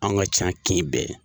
Anw ka ca kin bɛɛ ye.